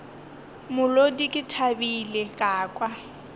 molodi ke thabile ka kwa